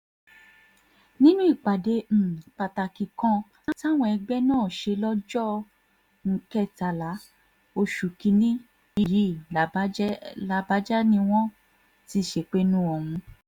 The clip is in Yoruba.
nínú ìpàdé um pàtàkì kan táwọn ẹgbẹ́ náà ṣe lọ́jọ́ um kẹtàlá oṣù kì-ín-ní yìí làbàjá ni wọ́n ti ṣèpinnu ọ̀hún